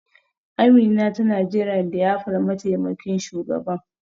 Amina tana jiran liyafar mataimakin shugaban.